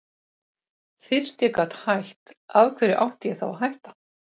Fyrst ég gat hætt, af hverju átti ég þá að hætta?